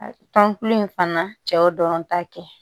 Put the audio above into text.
Tɔn kulu in fana cɛw dɔrɔn ta kɛ